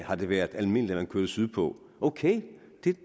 har det været almindeligt at man kørte sydpå ok